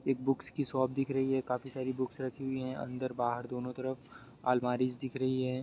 Books की shop दिख रही है | काफ़ी सारी बुकस रखी हुवी है अंदर बाहर दोनों तरफ अलमारीस दिख रही हैं ।